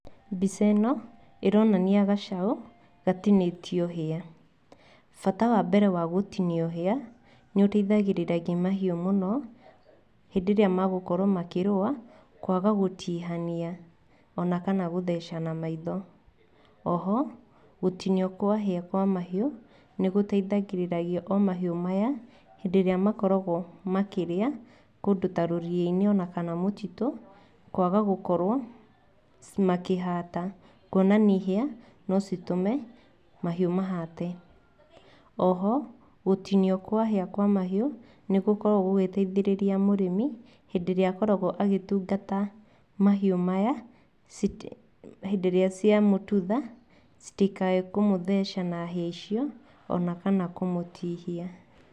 Mbica ĩno ĩronania gacaũ, gatinĩtio hĩa, bata wa mbere wa gũtinio hĩa, nĩũteithagĩrĩragia mahiũ mũno hĩndĩ ĩrĩa magũkorwo makĩrũa, kwaga gũtihania ona kana gũthecana maitho, o ho gũtinio kwa hĩa kwa mahiũ, nĩ gũteithagĩrĩragia o mahiũ maya, hĩndĩ ĩrĩa makoragwo makĩrĩa kũndũ ta rũriyĩ-inĩ ona kana mũtitũ, kwaga gũkorwo makĩhata, kuonania hĩa ni citũme mahiũ mahate, oho gũtinio kwa hĩa kwa mahiũ, nĩgũkoragwo gũgĩteithĩrĩria mũrĩmi, hĩndĩ ĩrĩa akoragwo agĩtungata mahiũ maya, hĩndĩ ĩrĩa cia mũtutha citikae kũmũtheca na hĩa icio, ona kana kũmũtihia.